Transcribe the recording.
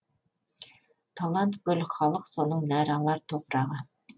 талант гүл халық соның нәр алар топырағы